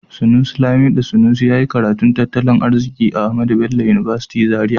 Sanusi Lamido Sanusi ya yi karatun tattalin arziki a Ahmadu Bello University Zaria.